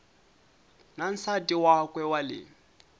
na nsati wakwe wa le